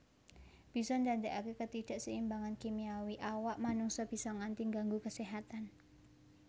Bisa ndadekaké ketidakseimbangan kimiawi awak manungsa bisa nganti ngganggu keséhatan